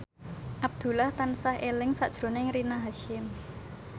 Abdullah tansah eling sakjroning Rina Hasyim